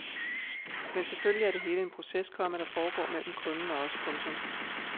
Men selvfølgelig er det hele en proces, komma der foregår mellem kunden og os. punktum